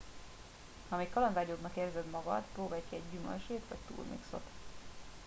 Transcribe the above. ha még kalandvágyóbbnak érzed magad próbálj ki egy gyümölcslét vagy turmixot